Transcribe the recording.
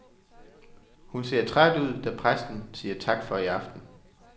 Hun ser træt ud, da præsten siger tak for i aften.